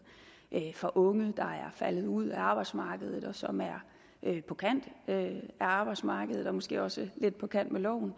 for unge der er faldet ud af arbejdsmarkedet og som er på kanten af arbejdsmarkedet og måske også lidt på kant med loven